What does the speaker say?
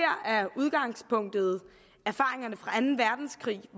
her er udgangspunktet erfaringerne fra anden verdenskrig